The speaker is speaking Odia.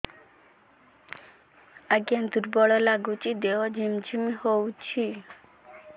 ଆଜ୍ଞା ଦୁର୍ବଳ ଲାଗୁଚି ଦେହ ଝିମଝିମ ହଉଛି